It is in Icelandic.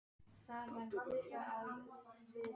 Það hvín í æstri rödd pabba.